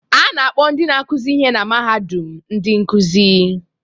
A na-akpọ ndị na-akụzi ihe na mahadum ndị nkuzi